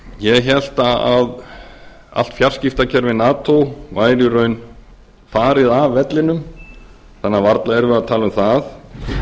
ég hélt að allt fjarskiptakerfi nato væri í raun farið af vellinum þannig að varla erum við að tala um það